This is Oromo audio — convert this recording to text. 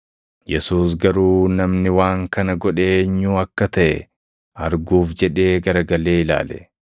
Yesuus garuu namni waan kana godhe eenyuu akka taʼe arguuf jedhee garagalee ilaale.